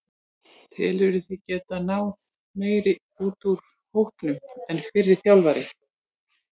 Telurðu þig geta náð meiru út úr hópnum en fyrri þjálfari?